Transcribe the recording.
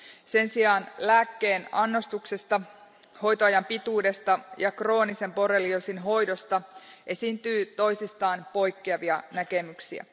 Sen sijaan lääkkeen annostuksesta, hoitoajan pituudesta ja kroonisen borrelioosin hoidosta esiintyy toisistaan poikkeavia näkemyksiä.